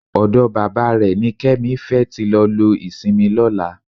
Ọ̀dọ bàbá rẹ̀ ni Kẹ́mi fẹ́ tí lọ lo ìsinmi lọ́la